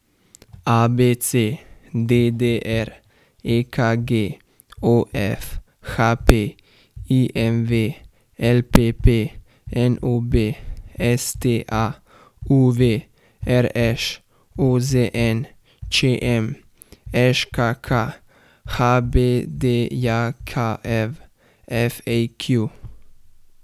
ABC, DDR, EKG, OF, HP, IMV, LPP, NOB, STA, UV, RŠ, OZN, ČM, ŽKK, HBDJKV, FAQ.